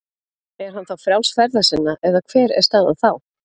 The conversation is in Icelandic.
Er hann þá frjáls ferða sinna eða hver er staðan þá?